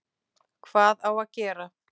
Hvað á að gera?